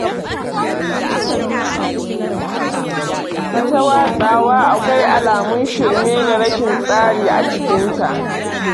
Ita watsawa akwai alamun shirme da rashin tsari a cikinta.